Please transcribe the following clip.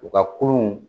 U ka kolon